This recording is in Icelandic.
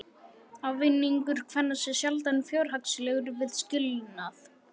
Ávinningur kvenna sé sjaldan fjárhagslegur við skilnað.